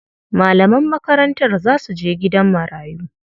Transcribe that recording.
Malaman makarantar za su je gidan marayu.